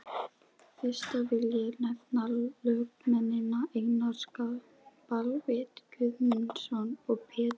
Fyrsta vil ég nefna lögmennina Einar Baldvin Guðmundsson og Pétur